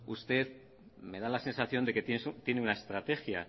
bueno usted me da la sensación de que tiene una estrategia